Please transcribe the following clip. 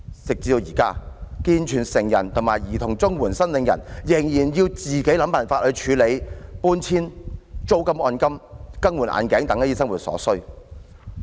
直至現在，健全成人和兒童綜援申領人仍然要自行想辦法處理搬遷、租金按金、更換眼鏡等生活所需。